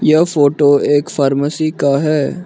यह फोटो एक फार्मेसी का है।